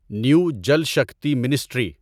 new Jal Shakti ministry